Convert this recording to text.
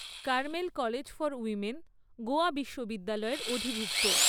Carmel college for women Goa বিশ্ববিদ্যালয়ের অধিভুক্ত।